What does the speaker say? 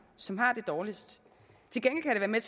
som har det dårligst til gengæld kan det